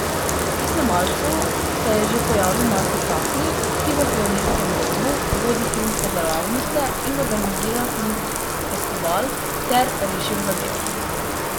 Pri snemalcu se je že pojavil Marko Cafnik, ki v Pionirskem domu vodi filmske delavnice in organizira Filmski festival, ter rešil zadevo.